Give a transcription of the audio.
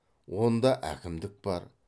онда әкімдік бар